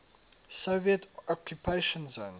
soviet occupation zone